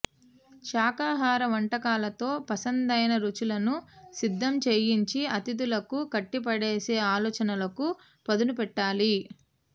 శాకాహార వంటకాలతో పసందైన రుచులను సిద్ధం చేయించి అతిధులకు కట్టిపడేసే ఆలోచనలకు పదునుపెట్టాలి